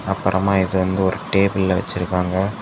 அப்பறமா இத வந்து ஒரு டேபிள்ல வெச்சுருக்காங்க.